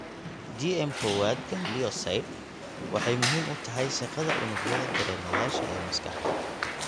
GM kowaad ganglioside waxay muhiim u tahay shaqada unugyada dareemayaasha ee maskaxda.